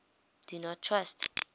do not trust